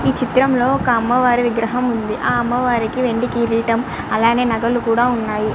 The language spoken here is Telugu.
ఈ చిత్రం లో ఒక అమ్మవారు విగ్రహం వుంది. ఆ అమ్మవారికి ఒక వెండి కిరీటం అలాగే నగలు కూడా వున్నాయ్.